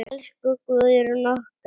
Elsku Guðrún okkar.